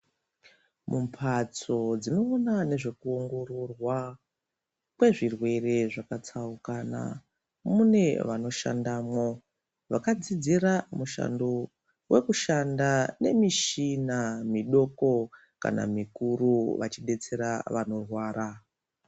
Mumphatso dzinoona nezvekuongororwa kwezvirwere zvakatsaukana . Mune vanoshandamwo vakadzidzira mushando wekushanda nemishina midoko kana mikuru vachidetsera vanorwara.